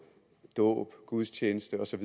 dåb gudstjeneste og så